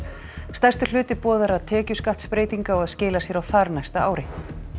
stærstur hluti boðaðra tekjuskattsbreytinga á að skila sér á þarnæsta ári